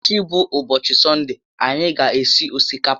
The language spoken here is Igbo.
Echi bụ úbọchị sọnde, anyị ga esi osikapa